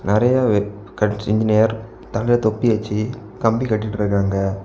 நெறியா wet cut engineer தலைல தொப்பி வெச்சு கம்பி கட்டிட்ருக்காங்க.